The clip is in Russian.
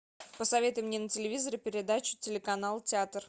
посоветуй мне на телевизоре передачу телеканал театр